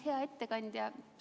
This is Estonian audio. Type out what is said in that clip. Hea ettekandja!